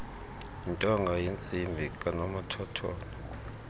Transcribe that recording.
yentonga yentsimbi kanomathotholo